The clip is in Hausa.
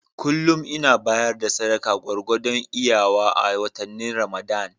Kullum ina bayar da sadaka gwargwadon iyawa a watannin Ramadan.